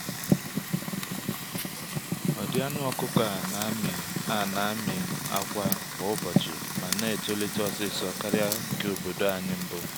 amụtara m n’aka ndị okenye na ịhọrọ ụdị na-emetụta ụmụ anụmanụ nke ọma ọma n’ọdịnihu